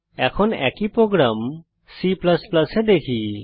এখন একই program C এ দেখি